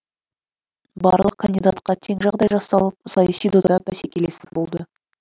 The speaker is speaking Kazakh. барлық кандидатқа тең жағдай жасалып саяси додада бәсекелестік болды